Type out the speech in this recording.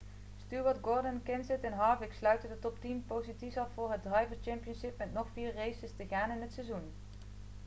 stewart gordon kenseth en harvick sluiten de top-tien posities af voor het drivers' championship met nog vier races te gaan in het seizoen